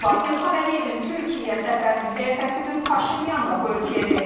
İlham Əliyevin Türkiyəyə səfərinin ertəsi gün Paşinyan da bu ölkəyə getdi.